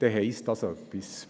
Das will etwas heissen.